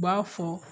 U b'a fɔ